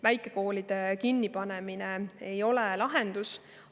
Väikekoolide kinnipanemine ei ole lahendus.